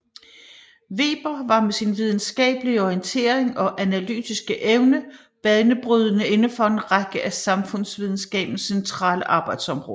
Weber var med sin videnskabelige orientering og analytiske evne banebrydende indenfor en række af samfundsvidenskabens centrale arbejdsområder